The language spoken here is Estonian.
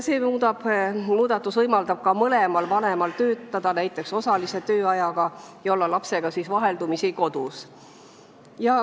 See muudatus võimaldab mõlemal vanemal töötada, näiteks osalise tööajaga, ja olla vaheldumisi lapsega kodus.